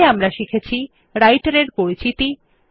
এতে আমরা শিখেছি রাইটের এর পরিচিতি